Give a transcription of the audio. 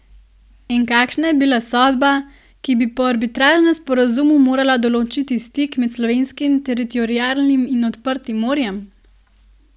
In kakšna je bila sodba, ki bi po arbitražnem sporazumu morala določiti stik med slovenskim teritorialnim in odprtim morjem?